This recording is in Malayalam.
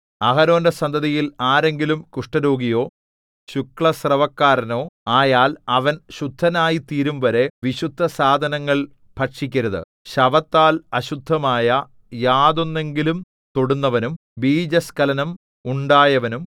അഹരോന്റെ സന്തതിയിൽ ആരെങ്കിലും കുഷ്ഠരോഗിയോ ശുക്ലസ്രവക്കാരനോ ആയാൽ അവൻ ശുദ്ധനായിത്തീരുംവരെ വിശുദ്ധസാധനങ്ങൾ ഭക്ഷിക്കരുത് ശവത്താൽ അശുദ്ധമായ യാതൊന്നെങ്കിലും തൊടുന്നവനും ബീജസ്ഖലനം ഉണ്ടായവനും